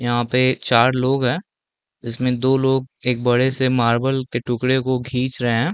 यहाँ पे चार लोग हैं जिसमे दो लोग एक बड़े से मार्बल के टुकड़े को खींच रहे हैं।